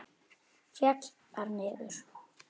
Féll þar niður.